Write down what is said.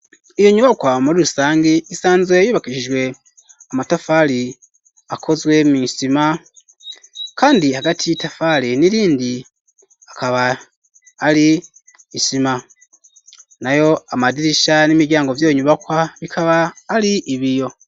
Iyo nyubakwa muri rusangi isanzwe yubakishijwe amatafari akozwe mw'sima kandi hagati y'itafari n'irindi akaba ari isima nayo amadirisha n'imiryango vyiyo nyubakwa bikaba ari ibiyo.